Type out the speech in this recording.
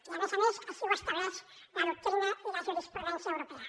i a més a més així ho estableixen la doctrina i la jurisprudència europees